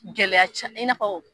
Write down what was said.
Gɛlɛya ca i n'a fɔ